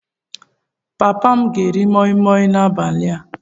Papa m ga-eri moi Moi n'abalị a?